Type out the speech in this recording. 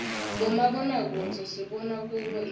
bomabonakudze sibona kubo imdlalo